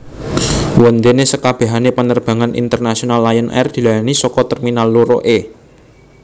Wondene sekabehane penerbangan internasional Lion Air dilayani saka terminal loro E